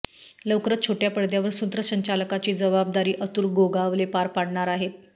लवकरच छोट्या पडद्यावर सूत्रसंचालकाची जबाबदारी अतुल गोगावले पार पाडणार आहेत